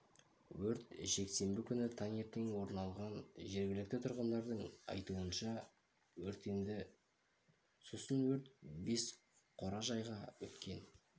өрт жексенбі күні таңертең орын алған жергілікті тұрғындардың айтуынша алдымен өртенді сосын өрт бес қора-жайға өткен